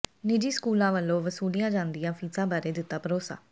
ਨਿੱਜੀ ਸਕੂਲਾਂ ਵੱਲੋਂ ਵਸੂਲੀਆਂ ਜਾਂਦੀਆਂ ਫੀਸਾਂ ਬਾਰੇ ਦਿੱਤਾ ਭਰੋਸਾ